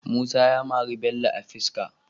Musa ya mari Bello a fiska